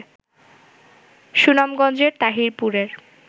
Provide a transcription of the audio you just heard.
সুনামগঞ্জের তাহিরপুরের